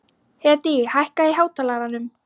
Hedí, hækkaðu í hátalaranum.